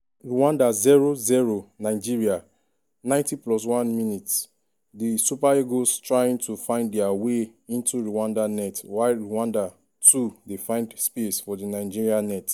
rwanda 0-0 nigeria 90+1mins- di super eagles trying to find dia way into rwanda net while rwanda too dey find space for di nigeria net.